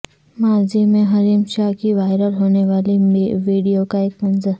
ماضی میں حریم شاہ کی وائرل ہونے والی ویڈیو کا ایک منظر